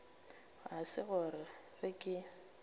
ga se gore ge ke